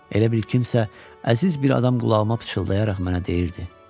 Elə bil kimsə əziz bir adam qulağıma pıçıldayaraq mənə deyirdi.